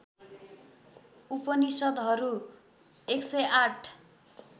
उपनिषद्हरू १०८